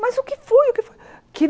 Mas o que foi? O que fo que